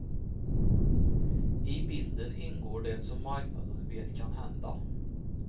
I bilden ingår det som marknaden vet kan hända.